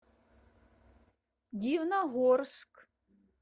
дивногорск